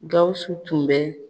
Gawusu tun bɛ